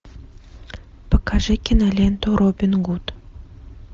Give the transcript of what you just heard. покажи киноленту робин гуд